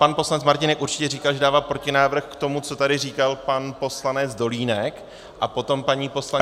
Pan poslanec Martínek určitě říkal, že dává protinávrh k tomu, co tady říkal pan poslanec Dolínek, a potom paní poslankyně -